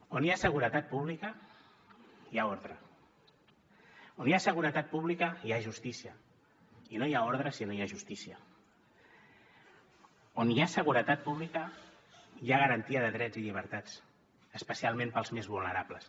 on hi ha seguretat pública hi ha ordre on hi ha seguretat pública hi ha justícia i no hi ha ordre si no hi ha justícia on hi ha seguretat pública hi ha garantia de drets i llibertats especialment per als més vulnerables